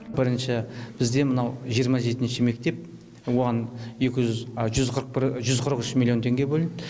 бірінші бізде мынау жиырма жетінші мектеп оған жүз қырық бір жүз қырық үш миллион теңге бөлінді